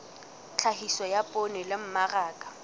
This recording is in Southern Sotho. tlhahiso ya poone le mmaraka